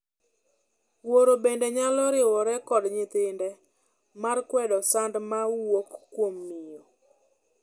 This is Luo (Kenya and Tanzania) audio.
Wuoro bende nyalo riwore kod nyithinde mar kwedo sand ma wuok kuom miyo.